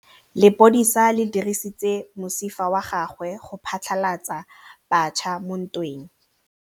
Lepodisa le dirisitse mosifa wa gagwe go phatlalatsa batšha mo ntweng.